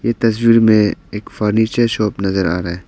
ये तस्वीर में एक फर्नीचर शॉप नजर आ रहा है।